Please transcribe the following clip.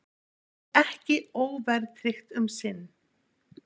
Ekki óverðtryggt um sinn